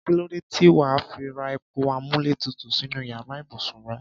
Kí ló dé tí wà á fi ra ẹ̀rọ amúlétutù sínú yàrá ibùsùn rẹ?